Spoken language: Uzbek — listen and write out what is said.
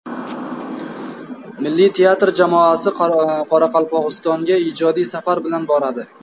Milliy teatr jamoasi Qoraqalpog‘istonga ijodiy safar bilan boradi.